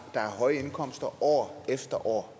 høje indkomster år efter år